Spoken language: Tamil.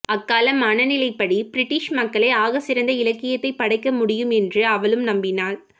அக்கால மனநிலைப்படி பிரிட்டிஷ் மக்களே ஆகச்சிறந்த இலக்கியத்தைப் படைக்க முடியும் என்று அவளும் நம்பினாள்